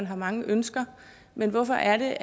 har mange ønsker men hvorfor er det